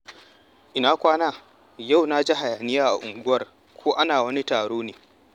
Ina kwana? Yau na ji hayaniya a unguwar, ko ana wani taro ne?